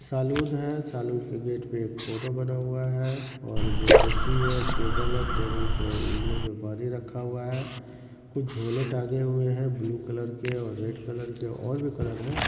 Salon है saloon के gate पे एक फोटो बना हुआ है और दो कुर्सी है एक टेबल है टेबल पे इगलू पे पानी रखा हुआ है| कुछ झोले टांगें हुए हैं ब्लू कलर के और रेड कलर के और भी कलर हैं।